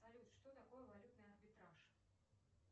салют что такое валютный арбитраж